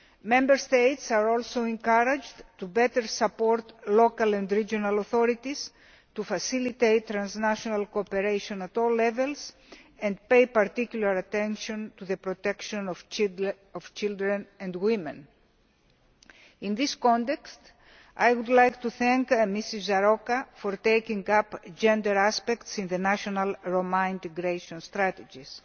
Member States are also encouraged to better support local and regional authorities, to facilitate transnational cooperation at all levels and to pay particular attention to the protection of children and women. In this context, I would like to thank Ms Járóka for taking up gender aspects in the national Roma integration strategies.